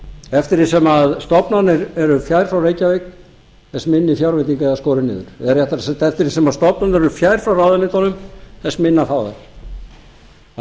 eftir því sem stofnanir eru fjær frá reykjavík þess minni fjárveiting er skorin niður eða réttara sagt eftir því sem stofnanir eru fjær frá ráðuneytunum þess minna fá þær